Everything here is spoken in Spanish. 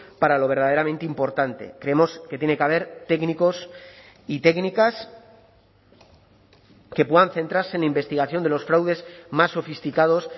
para lo verdaderamente importante creemos que tiene que haber técnicos y técnicas que puedan centrarse en investigación de los fraudes más sofisticados